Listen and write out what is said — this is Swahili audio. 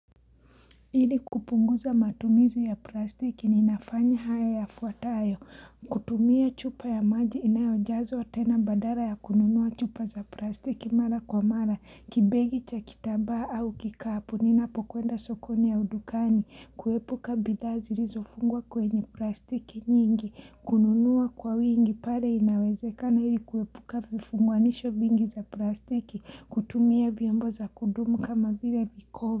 Ili kupunguza matumizi ya plastiki ni nafanya haya ya fuatayo, kutumia chupa ya maji inayo jazwa tena badara ya kununuwa chupa za plastiki mara kwa mara, kibegi cha kitambaa au kikapu, ninapokwenda sokoni au dukani, kuepuka bidhaa zilizofungwa kwenye plastiki nyingi, kununua kwa wingi pale inawezekana ili kuepuka vifunganisho vingi za plastiki, kutumia vyombo za kudumu kama vile viko.